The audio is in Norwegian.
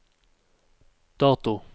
dato